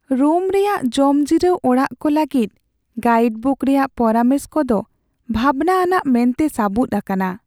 Rome ᱨᱮᱭᱟᱜ ᱡᱚᱢᱡᱤᱨᱟᱹᱣ ᱚᱲᱟᱜ ᱠᱚ ᱞᱟᱹᱜᱤᱫ ᱜᱟᱭᱤᱰᱵᱩᱠ ᱨᱮᱭᱟᱜ ᱯᱚᱨᱟᱢᱮᱥ ᱠᱚᱫᱚ ᱵᱷᱟᱵᱱᱟ ᱟᱱᱟᱜ ᱢᱮᱱᱛᱮ ᱥᱟᱹᱵᱩᱫ ᱟᱠᱟᱱᱟ ᱾